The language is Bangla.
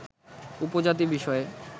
উপজাতি বিষয়ে